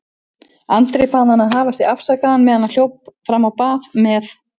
Andri bað hann að hafa sig afsakaðan meðan hann hljóp fram á bað með